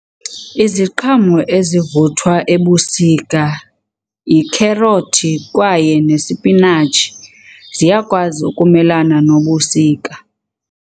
Iziqhamo ezivuthwa ebusika yikherothi kwaye nesipinatshi, ziyakwazi ukumelana nobusika.